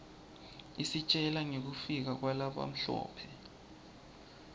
isitjela ngekufika kwalabamhlope